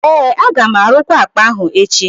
ee, aga m arụkwa akpa ahụ echi